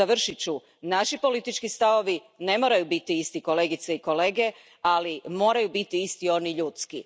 Završit ću, naši politički stavovi ne moraju biti isti, kolegice i kolege, ali moraju biti isti oni ljudski.